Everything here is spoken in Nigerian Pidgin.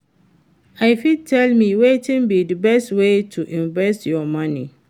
you fit tell me wetin be di best way to invest your money?